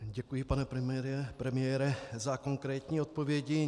Děkuji, pane premiére, za konkrétní odpovědi.